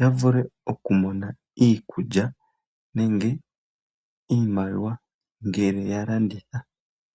ya vule okumona iikulya nenge iimaliwa ngele ya landitha.